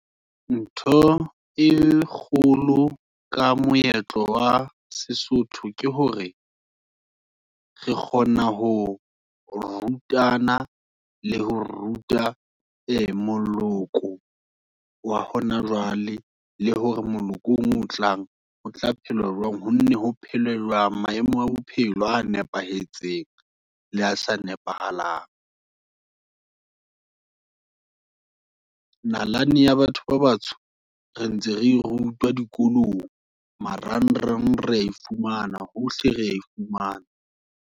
Ntho e kgolo, ka moetlo wa sesotho, ke hore, re kgona ho rutana, le ho ruta e moloko, wa hona jwale, le hore molokong omong o tlang, o tla phela jwang, ho nne ho phela jwang, maemo a bophelo a nepahetseng, le a sa nepahalang. Nalane ya batho ba batsho, re ntse re rutwa dikolong, marang rang, reya e fumana, hohle reya e fumana.